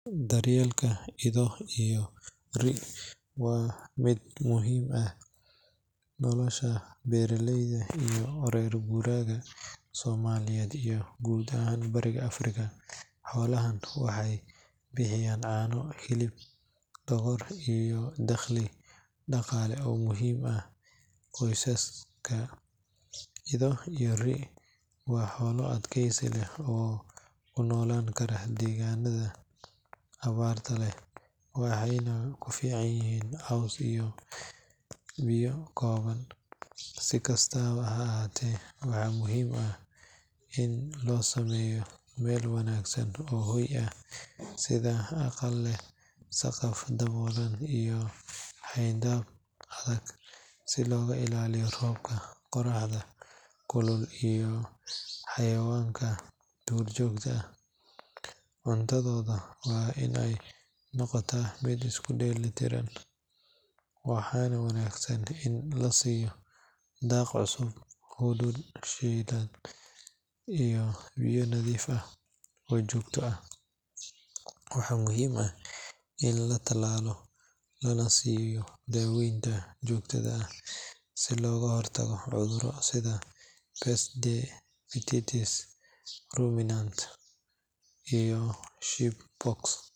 Daryeelka ido iyo ri’ waa mid muhiim u ah nolosha beeraleyda iyo reer guuraaga Soomaaliyeed iyo guud ahaan Bariga Afrika. Xoolahan waxay bixiyaan caano, hilib, dhogor, iyo dakhli dhaqaale oo muhiim u ah qoysaska. Ido iyo ri’ waa xoolo adkaysi leh oo ku noolaan kara deegaanada abaarta leh, waxayna ku filan yihiin caws iyo biyo kooban. Si kastaba ha ahaatee, waa muhiim in loo sameeyo meel wanaagsan oo hoy ah sida aqal leh saqaf daboolan iyo xayndaab adag si looga ilaaliyo roobka, qorraxda kulul, iyo xayawaanka duurjoogta ah. Cuntadooda waa in ay noqotaa mid isku dheelitiran, waxaana wanaagsan in la siiyo daaq cusub, hadhuudh shiidan, iyo biyo nadiif ah oo joogto ah. Waxaa muhiim ah in la talaalo lana siiyo daaweynta joogtada ah si looga hortago cudurro sida peste des petits ruminants (PPR) iyo sheep pox.